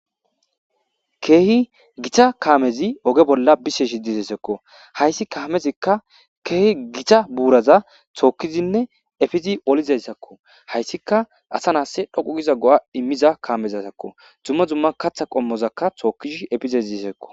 Keehi githa kaamezi oge bolla biseezi disheezakko; hayssi kaamezikka keehi githa buuratha tookkidinne efizi olizayssakko; haysikka asa na7issi dhoqqu giiza go7aa immiza kaamezazakko; dumma dumma kaththa qommotha tookkizi efizezizekko.